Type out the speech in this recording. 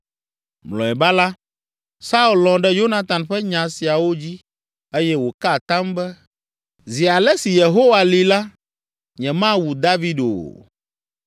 Mlɔeba la, Saul lɔ̃ ɖe Yonatan ƒe nya siawo dzi eye wòka atam be, “Zi ale si Yehowa li la, nyemawu David o.”